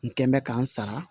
N kɛn bɛ k'an sara